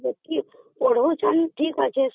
ସେତିକି ପଢ଼ାଉଛନ୍ତି ଠିକ ଅଛି